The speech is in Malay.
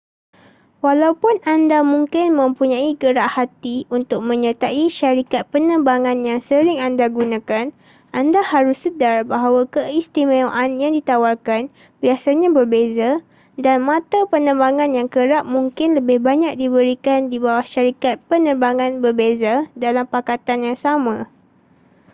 walaupun anda mungkin mempunyai gerak hati untuk menyertai syarikat penerbangan yang sering anda gunakan anda harus sedar bahawa keistimewaan yang ditawarkan biasanya berbeza dan mata penerbangan yang kerap mungkin lebih banyak diberikan di bawah syarikat penerbangan berbeza dalam pakatan yang sama